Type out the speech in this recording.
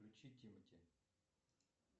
включи тимати